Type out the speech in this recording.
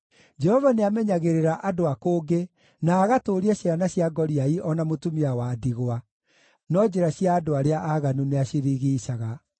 Jehova nĩamenyagĩrĩra andũ a kũngĩ, na agatũũria ciana cia ngoriai o na mũtumia wa ndigwa, no njĩra cia andũ arĩa aaganu nĩacirigiicaga.